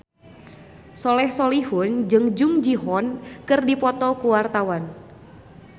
Soleh Solihun jeung Jung Ji Hoon keur dipoto ku wartawan